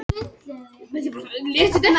Kannski sem vatnsberi, ég elska þetta félag.